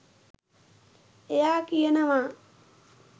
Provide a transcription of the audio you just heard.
එයා කියනවා